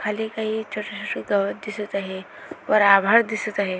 खाली काही छोटे छोटे गवत दिसत आहे वर आभाळ दिसत आहे.